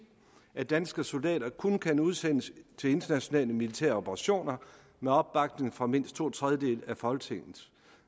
at danske soldater kun kan udsendes til internationale militære operationer med opbakning fra mindst to tredjedele af folketinget